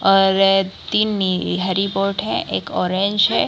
और तीन हरी बोट हैं एकओरेंज है।